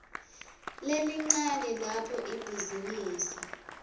lelincane lapho ibhizinisi